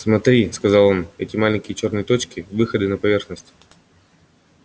смотри сказал он эти маленькие чёрные точки выходы на поверхность